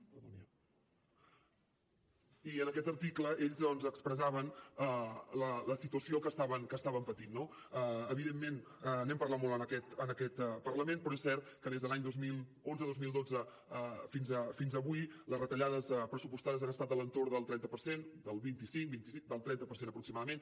perdoni eh i en aquest article ells doncs expressaven la situació que estaven patint no evidentment n’hem parlat molt en aquest parlament però és cert que des de l’any dos mil onze dos mil dotze fins avui les retallades pressupostàries han estat a l’entorn del trenta per cent del vint cinc del trenta per cent aproximadament